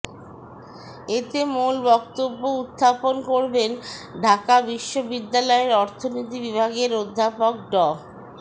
এতে মূল বক্তব্য উত্থাপন করবেন ঢাকা বিশ্ববিদ্যালয়ের অর্থনীতি বিভাগের অধ্যাপক ড